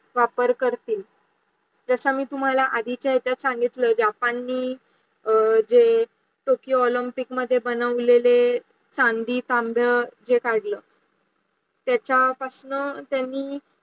वापर करतील. जसा मी तुम्हाला आदिछे येचाच सांगितलं ज्या पाणीही जे ओप्पुनीच मध्ये बनवलेले संभी संभ हे काढलं, त्याचा पासून त्यांनी